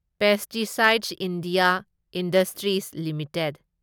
pesticides India Industries limited